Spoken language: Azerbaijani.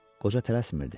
Qoca tələsmirdi.